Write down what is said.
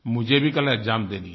मुझे भी कल एक्साम देनी है